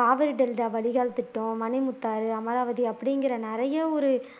Kaveri delta வடிகால் திட்டம் மணிமுத்தாறு அமராவதி அப்படிங்கிற நிறைய ஒரு